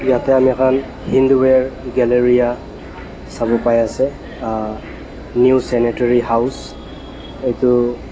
yate amikhan hindware galleria sabo pai ase ah new sanitary house etu.